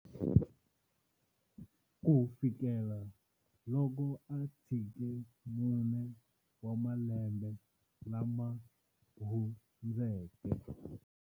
Kufikela loko a tshike mune wa malembe lama hundzeke.